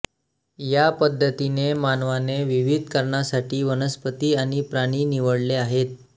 या पद्धतीने मानवाने विविध कारणासाठी वनस्पती आणि प्राणी निवडले आहेत